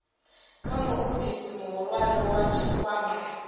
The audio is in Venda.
kha muofisi muhulwane wa tshikwama